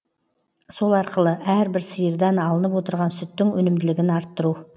сол арқылы әрбір сиырдан алынып отырған сүттің өнімділігін арттыру